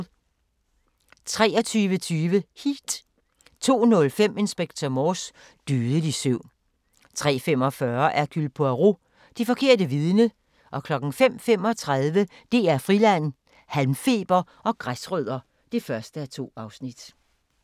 23:20: Heat 02:05: Inspector Morse: Dødelig søvn 03:45: Hercule Poirot: Det forkerte vidne 05:35: DR Friland: Halmfeber og græsrødder (1:2)